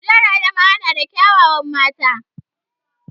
Jihar Adamawa na da kya wawan mata